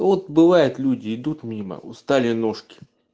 вот бывает люди идут мимо устали ножки